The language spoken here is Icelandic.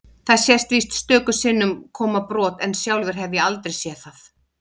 Þarna sést víst stöku sinnum koma brot en sjálfur hef ég aldrei séð það.